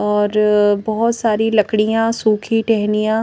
और बहुत सारी लकड़ियां सूखी टेहनियां--